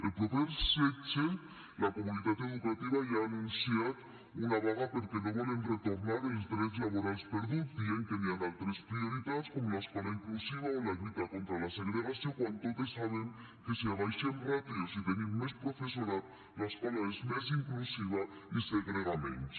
el proper setze la comunitat educativa ja ha anunciat una vaga perquè no volen retornar els drets laborals perduts dient que hi ha altres prioritats com l’escola inclusiva o la lluita contra la segregació quan totes sabem que si abaixem ràtios i tenim més professorat l’escola és més inclusiva i segrega menys